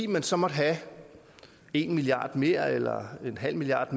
man så måtte have en milliard kroner mere eller en halv milliard